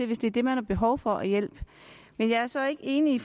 hvis det er det man har behov for af hjælp men jeg er så ikke enig